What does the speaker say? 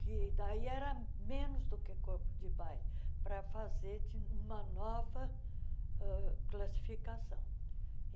que daí era menos do que corpo de baile, para fazer de uma nova ãh classificação.